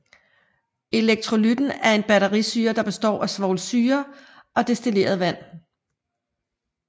Elektrolytten er en batterisyre der består af svovlsyre og destilleret vand